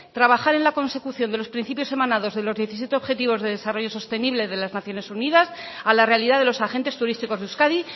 trabajar en la consecución de los principios emanados de los diecisiete objetivos de desarrollo sostenible de las naciones unidas a la realidad de los agentes turísticos de euskadi